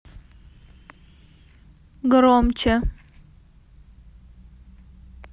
громче